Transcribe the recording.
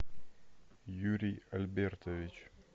юрий альбертович